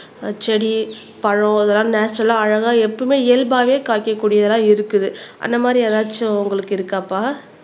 ஆஹ் செடி பழம் இதெல்லாம் நேச்சரல்லா அழகா எப்பவுமே இயல்பாவே காய்க்கக்கூடியதெல்லாம் இருக்குது அந்த மாதிரி ஏதாச்சும் உங்களுக்கு இருக்காப்பா